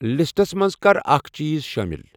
لِسٹَس منٛز کَر اکھ چیٖز شامِل۔